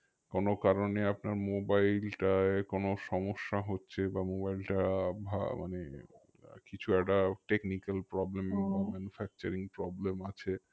কোনো কারণে আপনার mobile টায় কোনো সমস্যা হচ্ছে বা mobile টা ভা~ মানে কিছু একটা technical problem manufacturing problem আছে